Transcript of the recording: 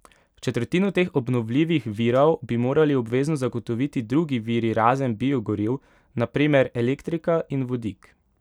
Četrtino teh obnovljivih virov bi morali obvezno zagotoviti drugi viri razen biogoriv, na primer elektrika in vodik.